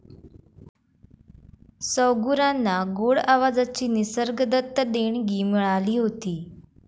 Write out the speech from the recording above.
सौगुरांना गोड आवाजाची निसर्गदत्त देणगी मिळाली होती.